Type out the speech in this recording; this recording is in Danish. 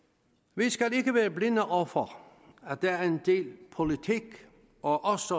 vi skal ikke være blinde over for at der er en del politik og også